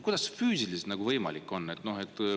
Kuidas see füüsiliselt võimalik on?